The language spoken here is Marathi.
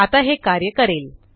आता हे कार्य करेल